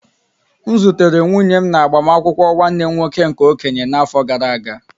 M zutere nwunye m na agbamakwụkwọ nwanne m nwoke nke okenye n'afọ gara aga.